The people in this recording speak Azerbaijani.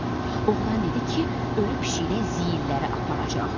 Oğlan dedi ki, ölü pişiklə ziyilləri aparacaq.